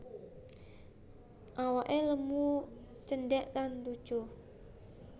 Awake lemu cendhek lan lucu